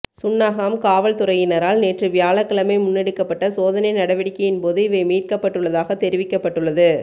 சுன்னாகம் காவல்துறையினரால் நேற்று வியாழக்கிழமை முன்னெடுக்கப்பட்ட சோதனை நடவடிக்கையின் பொது இவை மீட்கப்பட்டுள்ளதாக தெரிவிக்கப்பட்டுள்ளது